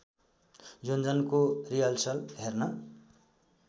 योञ्जनको rehearsal हेर्न